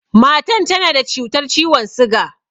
Matan nan tana da cutar ciwon siga